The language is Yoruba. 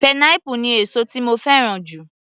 Pineapple ni èsó tí mo fẹ́ràn jù.